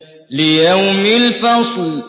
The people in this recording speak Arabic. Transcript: لِيَوْمِ الْفَصْلِ